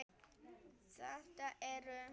Þetta eru.